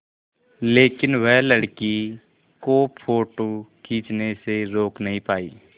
लेकिन वह लड़की को फ़ोटो खींचने से रोक नहीं पाई